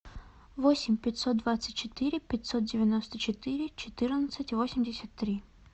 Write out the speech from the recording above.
восемь пятьсот двадцать четыре пятьсот девяносто четыре четырнадцать восемьдесят три